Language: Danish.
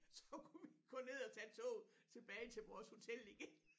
Så kunne vi gå ned og tage toget tilbage til vores hotel igen